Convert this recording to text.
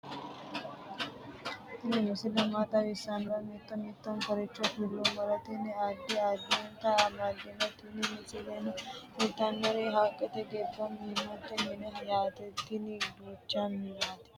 tini misile maa xawissannoro mito mittonkaricho kulummoro tini addi addicoy amaddinote tini misileno kultannori haqqete giddo minnoonni minnaati yaate tini duucha minnaati